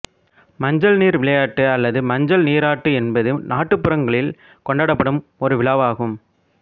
மஞ்சள் நீர் விளையாட்டு அல்லது மஞ்சள் நீராட்டு என்பது நாட்டுப்புறங்களில் கொண்டாடப்படும் ஒரு விழா ஆகும்